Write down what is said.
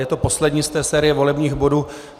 Je to poslední z té série volebních bodů.